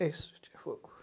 É isso.